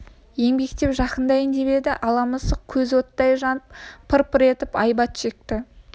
еңбектеп жақындайын деп еді ала мысық көзі оттай жанып пыр-пыр етіп айбат шекті